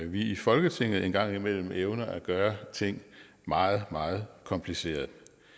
vi i folketinget en gang imellem evner at gøre ting meget meget komplicerede